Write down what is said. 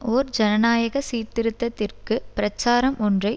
ஓர் ஜனநாயக சீர்திருத்தத்திற்கு பிரச்சாரம் ஒன்றை